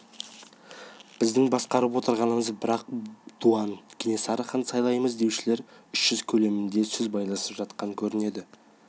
біздің басқарып отырғанымыз бір-ақ дуан кенесарыны хан сайлаймыз деушілер үш жүз көлемінде сөз байласып жатқан көрінеді